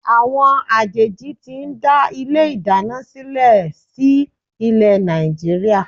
Àwọn àjèjì ti ń dá ilé ìdáná sílè sí ilé Nàìjíríà.